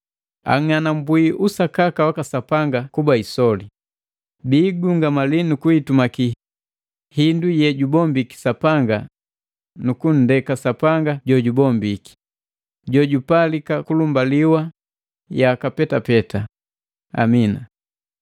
Ang'anambwi usakaka waka Sapanga kuba isoli, bikigungamali nukuhitumaki hindu yejubombiki Sapanga nukunndeka Sapanga jojubombiki, jojupalika kulumbaliwa yaka petapeta, Amina.